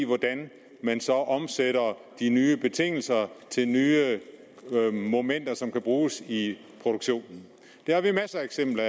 hvordan man så omsætter de nye betingelser til nye momenter som kan bruges i produktionen det har vi masser af eksempler